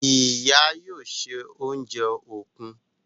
Ìyá yóò ṣe oúnjẹ òkú..